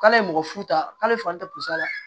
K'ale ye mɔgɔ fu ta k'ale fan ta